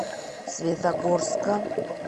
светогорска